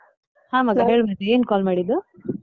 ಹಾ ಮಗ, ಹೇಳು ಮತ್ತೆ ಏನ್ call ಮಾಡಿದ್ದು?